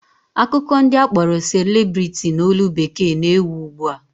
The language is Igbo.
Akụkọ ndị akpọrọ celebrity n'olu bekee na-ewu ugbua